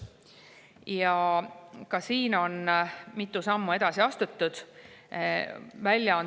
Ja ka siin on mitu sammu edasi astutud.